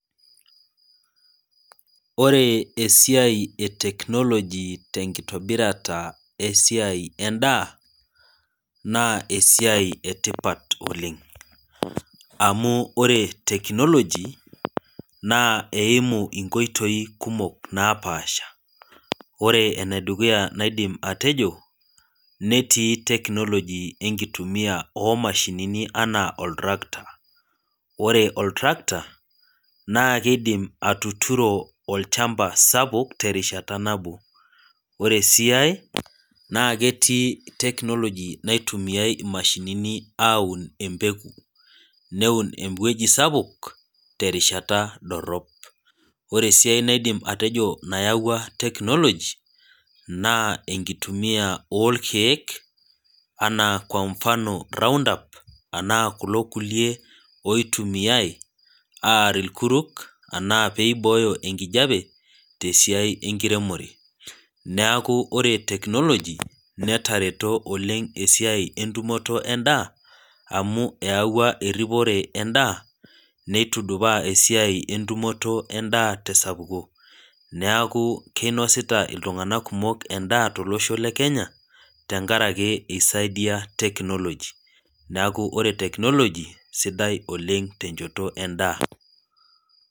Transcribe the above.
Ore esiai eteknoloji tenkitobirata esiai endaa naa esiai etipat oleng amu ore technology naa eimu nkoitoi kumok napasha , ore enedukuya naidim atejo netii technology enkitumia omashinini anaa oltractor, ore oltractor naa kidim atuturo olchamba sapuk terishata nabo , ore sii ae naa ketii technology naitumiay imashinini aun empeku neun ewueji sapuk terishata dorop . Ore siiae naidim atejo nayawua technology naa enkitumia orkiek anaa kwa mfano round up anaa kulo kulie oitumiay aar irkuruk anaa peibooyo enkijape tesiai enkiremore neeku ore technology netareto oleng esiai entumoto endaa amu eyawua eripore endaa , neitudupa esiai entumoto endaa tesapuko , neeku kinosita iltunganak kumok endaa tolosho lekenya tenkaraki isaidia technology neeku ore technology sidai oleng tenchoto endaa.